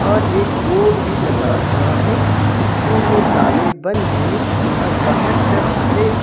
और एक बोर्ड भी लगा हुआ है स्कूल में ताले बंद हैं और बाहर सब खड़े--